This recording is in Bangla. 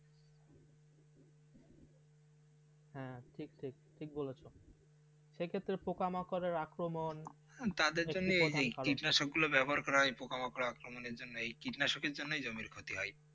হ্যাঁ ঠিক ঠিক ঠিক বলেছে সে ক্ষেত্রে পোকা মাঁকরের আক্রমণ তাদের জন্য এই যে ই কীটনাশক গুলো ব্যবহার করা হয় পোকামাকড়ের আক্রমণ জন্য এই কীটনাশকের জন্য জমির খ্যাতি হয়